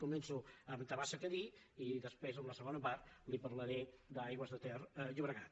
començo amb tabasa cadí i després en la segona part li parlaré d’aigües ter llobregat